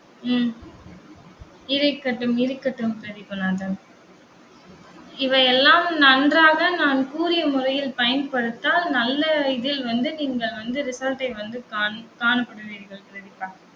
உம் இருக்கட்டும். இருக்கட்டும் பிரதீபநாதன் இவையெல்லாம் நன்றாக நான் கூறிய முறையில் பயன்படுத்தால் நல்ல இதில் வந்து நீங்கள் வந்து result ஐ வந்து காண்~ காணப்படுவீர்கள் பிரதீபா.